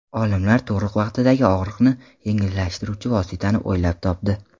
Olimlar tug‘ruq vaqtidagi og‘riqni yengillashtiruvchi vositani o‘ylab topdi.